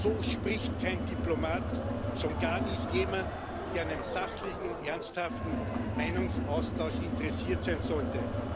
So spricht kein Diplomat, schon gar nicht jemand, der an einem sachlichen und ernsthaften Meinungsaustausch interessiert sein sollte.